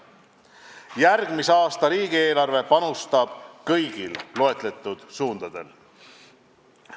Järgmise aasta riigieelarve annab panuse kõigil loetletud suundadel.